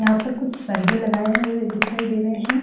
यहां पर कुछ सरिए लगाए हुए दिखाई दे रहे हैं ।